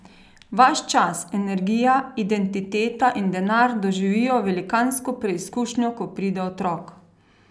Vaš čas, energija, identiteta in denar doživijo velikansko preizkušnjo, ko pride otrok.